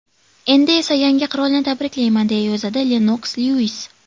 Endi esa yangi qirolni tabriklayman”, deya yozadi Lennoks Lyuis.